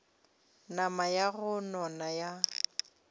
nama ya go nona ya